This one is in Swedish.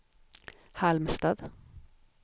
Halmstad